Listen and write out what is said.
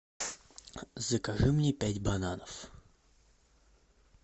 закажи мне пять бананов